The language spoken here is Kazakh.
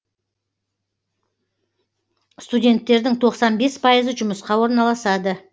студенттердің тоқсан бес пайызы жұмысқа орналасады